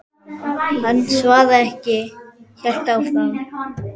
Hann svaraði ekki, hélt áfram.